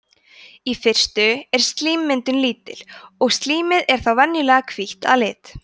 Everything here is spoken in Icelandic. í fyrstu er slímmyndun lítil og slímið er þá venjulega hvítt að lit